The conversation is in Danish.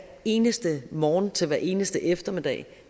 eneste morgen til hver eneste eftermiddag